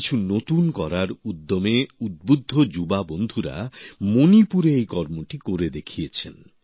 কিছু নতুন করার উদ্যমে উদ্বুদ্ধ যুবকবন্ধুরা মণিপুরে এই কাজটি করে দেখিয়েছেন